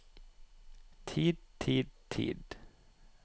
tid tid tid